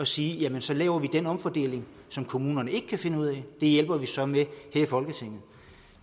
sige at så laver vi den omfordeling som kommunerne ikke kan finde ud af det hjælper vi så med her i folketinget